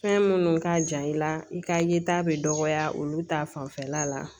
Fɛn minnu ka jan i la i ka yeta bɛ dɔgɔya olu ta fanfɛla la